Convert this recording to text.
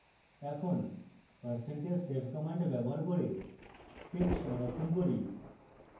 এখন percentage save command ব্যবহার করে script সংরক্ষণ করি